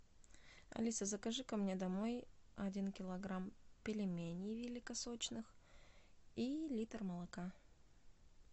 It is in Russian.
алиса закажи ко мне домой один килограмм пельменей великосочных и литр молока